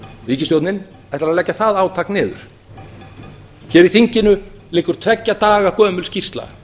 ríkisstjórnin ætlar að leggja það átak niður hér í þinginu liggur tveggja daga gömul skýrsla